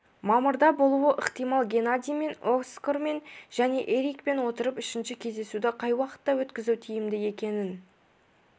мамырда болуы ықтимал геннадиймен оскармен және эрикпен отырып үшінші кездесуді қай уақытта өткізу тиімді екенін